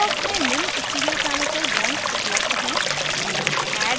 toolbox में निम्न stereochemical bonds उपलब्ध हैं